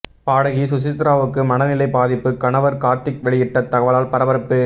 பாடகி சுசித்ராவுக்கு மனநிலை பாதிப்பு கணவர் கார்த்திக் வெளியிட்ட தகவலால் பரபரப்பு